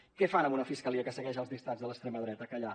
què fan amb una fiscalia que segueix els dictats de l’extrema dreta callar